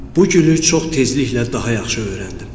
Bu gülü çox tezliklə daha yaxşı öyrəndim.